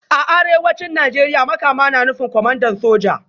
A Arewacin Najeriya Makama na nufin Kwamandan Soja